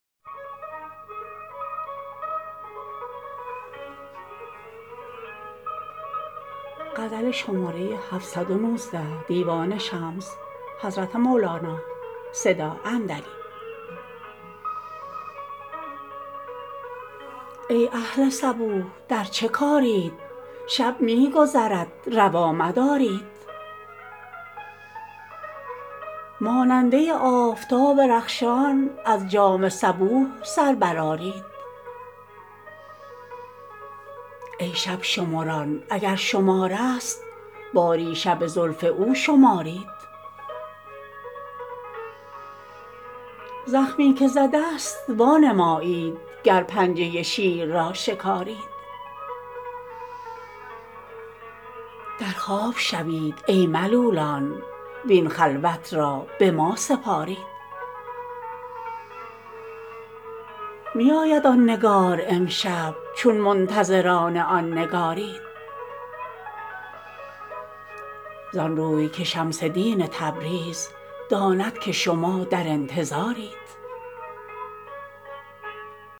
ای اهل صبوح در چه کارید شب می گذرد روا مدارید ماننده آفتاب رخشان از جام صبوح سر برآرید ای شب شمران اگر شمار ست باری شب زلف او شمارید زخمی که زده ست وانمایید گر پنجه شیر را شکارید در خواب شوید ای ملولان وین خلوت را به ما سپارید می آید آن نگار امشب چون منتظران آن نگارید زان روی که شمس دین تبریز داند که شما در انتظارید